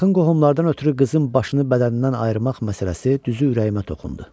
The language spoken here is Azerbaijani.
Yaxın qohumlardan ötrü qızın başını bədənindən ayırmaq məsələsi düzü ürəyimə toxundu.